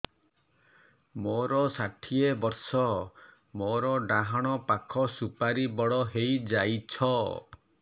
ମୋର ଷାଠିଏ ବର୍ଷ ମୋର ଡାହାଣ ପାଖ ସୁପାରୀ ବଡ ହୈ ଯାଇଛ